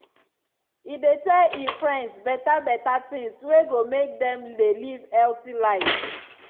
e dey tell e friends beta beta tings wey go make dem dey live healthy life.